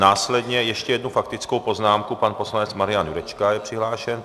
Následně ještě jednu faktickou poznámku, pan poslanec Marian Jurečka je přihlášen.